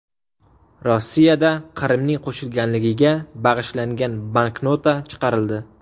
Rossiyada Qrimning qo‘shilganligiga bag‘ishlangan banknota chiqarildi.